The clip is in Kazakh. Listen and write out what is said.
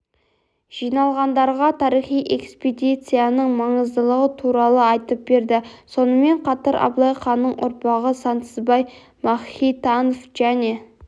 жиналғандарға тарихи экспедицияның маңыздылығы туралы айтып берді сонымен қатар абылай ханның ұрпағы сансызбай махитанов және